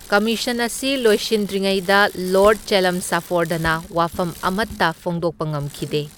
Commission ꯑꯁꯤ ꯂꯣꯏꯁꯤꯟꯗ꯭ꯔꯤꯉꯩꯗ ꯂꯣꯔꯗ ꯆꯦꯜꯂꯝꯁꯐꯣꯔꯗꯅ ꯋꯥꯐꯝ ꯑꯃꯠꯇ ꯐꯣꯡꯗꯣꯛꯄ ꯉꯝꯈꯤꯗꯦ꯫